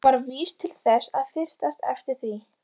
Hún var vís til þess að fyrtast yfir því.